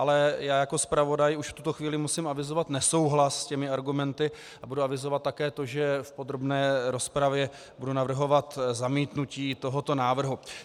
Ale já jako zpravodaj už v tuto chvíli musím avizovat nesouhlas s těmi argumenty a budu avizovat také to, že v podrobné rozpravě budu navrhovat zamítnutí tohoto návrhu.